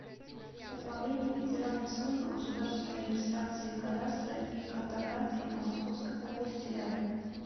управление федеральной службы государственной регистрации кадастра и картографии по московской области рядом